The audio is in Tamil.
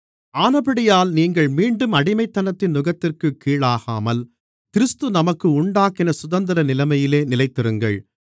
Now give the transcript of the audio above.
ஆனபடியால் நீங்கள் மீண்டும் அடிமைத்தனத்தின் நுகத்திற்குக் கீழாகாமல் கிறிஸ்து நமக்கு உண்டாக்கின சுதந்திர நிலைமையிலே நிலைத்திருங்கள்